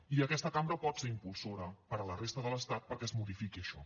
i aquesta cambra pot ser impulsora per a la resta de l’estat perquè es modifiqui això